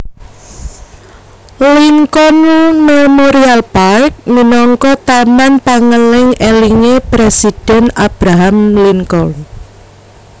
Lincoln Memorial Park minangka taman pangeling elingé Presiden Abraham Lincoln